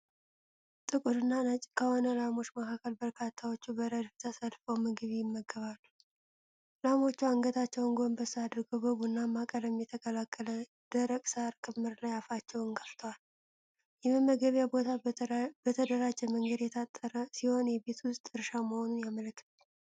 ጥቁርና ነጭ ከሆኑ ላሞች መካከል በርካታዎቹ በረድፍ ተሰልፈው ምግብ ይመገባሉ። ላሞቹ አንገታቸውን ጎንበስ አድርገው በቡናማ ቀለም የተቀላቀለ ደረቅ የሣር ክምር ላይ አፋቸውን ከፍተዋል። የመመገቢያው ቦታ በተደራጀ መንገድ የታጠረ ሲሆን፣ የቤት ውስጥ እርሻ መሆኑን ያመለክታል።